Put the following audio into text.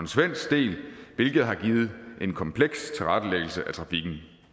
svensk del hvilket har givet en kompleks tilrettelæggelse af trafikken